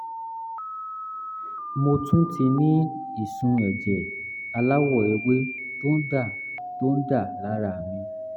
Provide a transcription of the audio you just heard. mo tún ti ní ìsun ẹ̀jẹ̀ aláwọ̀ ewé tó ń dà tó ń dà lára mi